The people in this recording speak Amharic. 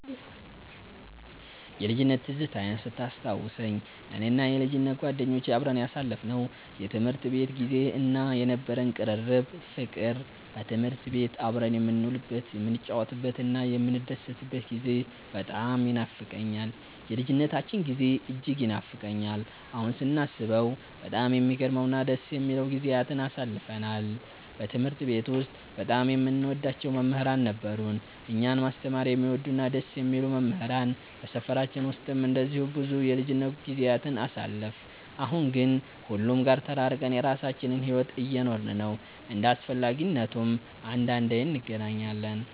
የልጅነት ትዝታዬን ስታስታውሰኝ፣ እኔና የልጅነት ጓደኞቼ አብረን ያሳለፍነው የትምህርት ቤት ጊዜ እና የነበረን ቅርርብ ፍቅር፣ በትምህርት ቤት አብረን የምንውልበት፣ የምንጫወትበትና የምንደሰትበት ጊዜ በጣም ይኖፋቀኛል። የልጅነታችን ጊዜ እጅግ ይናፍቀኛል። አሁን ስናስበው በጣም የሚገርሙ እና ደስ የሚሉ ጊዜያትን አሳልፈናል። በትምህርት ቤት ውስጥ በጣም የምንወዳቸው መምህራን ነበሩን፤ እኛን ማስተማር የሚወዱ እና ደስ የሚሉ መምህራን። በሰፈራችን ውስጥም እንደዚሁ ብዙ የልጅነት ጊዜያትን አሳልፈን፣ አሁን ግን ሁሉም ጋር ተራርቀን የራሳችንን ሕይወት እየኖርን ነው። እንደ አስፈላጊነቱም አንዳንዴ እንገናኛለን።